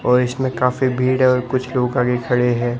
और इसमें काफी भीड़ है और कुछ लोग आगे खड़े हैं।